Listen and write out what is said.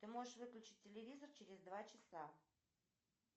ты можешь выключить телевизор через два часа